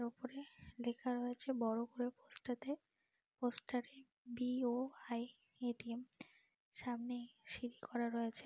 ওপরে লেখা রয়েছে বড় করে পোস্টাতে পোস্টারে বি.ও.আই. এ.টি.এম. সামনেই সিড়ি করা রয়েছে।